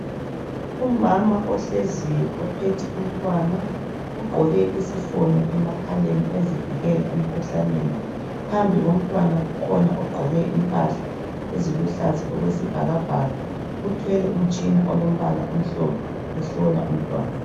Umama ohleziyo ophethe umntwana ugqoke isifonyo emakhaleni ezivikela emkhuhlaneni, phambi komntwana kukhona ogqoke impahla eziluhlaza okwesibhakabhaka uthwele umtshina olombala omhlophe ehlola umntwana.